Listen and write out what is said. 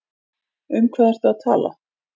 Um hvað ertu að tala?